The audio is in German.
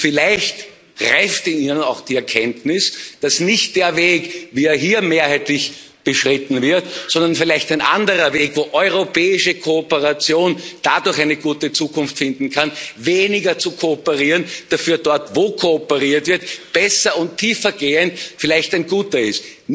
Vielleicht reift in Ihnen auch die Erkenntnis, dass nicht der Weg, wie er hier mehrheitlich beschritten wird, sondern vielleicht ein anderer Weg, wo europäische Kooperation dadurch eine gute Zukunft finden kann, weniger zu kooperieren, dafür dort, wo kooperiert wird, besser und tiefer gehend, vielleicht ein guter ist.